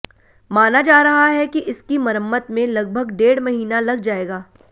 माना जा रहा है कि इसकी मरम्मत में लगभग डेढ़ महीना लग जाएगा